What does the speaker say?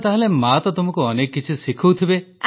ତାହେଲେ ମାଆ ତ ତୁମକୁ ଅନେକ କିଛି ଶିଖାଉଥିବେ